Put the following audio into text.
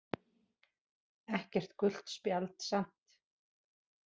Ekkert gult spjald samt